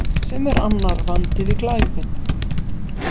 Sem er annar vandi við glæpinn.